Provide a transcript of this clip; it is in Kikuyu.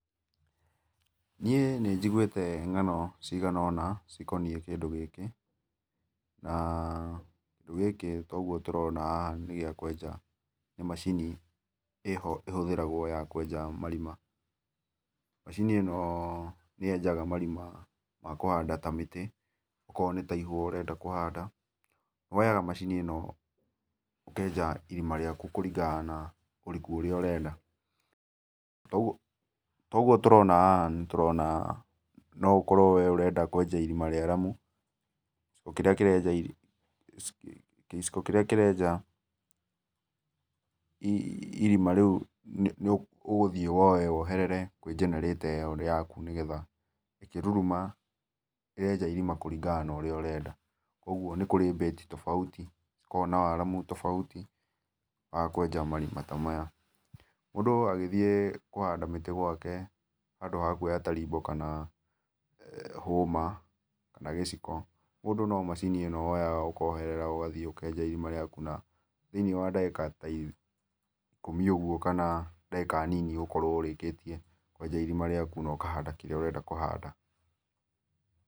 Niĩ nĩjĩgũĩte ngano cigana ona cĩkonĩe kĩndũ gĩkĩ na kĩndũ gĩkĩ ta ũgũo tũrona haha nĩ kĩndũ gĩa kũenja nĩ macinĩ ĩho ĩhũthĩragwo ya kũenja marĩma. Macini ĩno nĩyenjaga marĩma ma kũhanda ta mĩtĩ okoro nĩ ta ihũa ũrenda kũhanda woyaga macini ĩno ũkenja irima riakũ kũrĩngana na ũrĩkũ ũrĩa ũrenda, ta ũgũo tũrona haha nĩ tũrona nũ ũkorwo wĩ nĩ ũrenda kũenja irima rĩaramũ ũkĩrĩa kĩrenja gĩciko kĩrĩa kĩrenja irĩma rĩũ nĩ ũgũthĩe woye woherere kwĩ generator ĩyo yakũ nĩ getha ĩkĩrũrũma nĩrenja irima kũrĩngana na ũria ũrenda. Kwogwo nĩ kũrĩ beat tofauti ũkoragwo na waramũ tofauti wa kũenja marĩma ta maya. Mũndũ agĩthĩe kũhanda mĩtĩ gwake handũ ha kũoya tarĩbo kana hũma kana gĩciko mũndũ nũ macini ino woyaga ũkaoherera ũgathĩe ũkenja irima rĩakũ thĩ inĩ wa ndagĩka ta ikũmĩ ogũo kana dagĩka nĩnĩ nĩ ũgokorwo ũrĩkĩtĩe kũenja ĩrĩma rĩakũ na ũkahanda kĩrĩa ũrenda kũhanda.